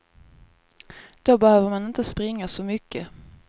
Då behöver man inte springa så mycket.